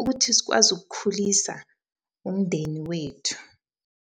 ukuthi sikwazi ukukhulisa umndeni wethu.